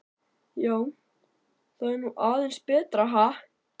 Já, þetta var nú aðeins betra, ha!